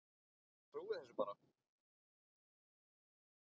Ég trúi þessu bara.